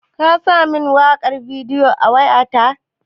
Ka sa min waƙar Davido a wayata?